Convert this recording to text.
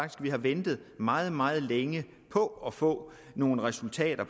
vi har ventet meget meget længe på at få nogle resultater